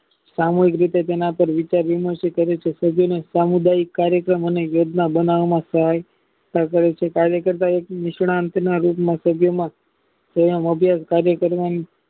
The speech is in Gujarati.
સામુહિક રીતે તેના પર વિચારીને સમુદાય કાર્યક્રમ યોજના બનાવ માટે કાર્ય કરતા વ્યક્તિ નિષ્ણાંત રૂગના પ્રભાવમાં કાર્ય કરવાની